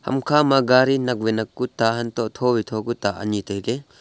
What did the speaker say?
ham kha ma gari nak wai nak ku ta hantoh tho wai tho wai tho ku ta anyi tailey.